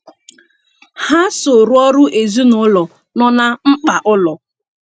Ha so rụọrọ ezinụụlọ no na mkpa ụlọ.